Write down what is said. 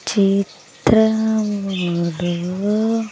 చిత్రములు--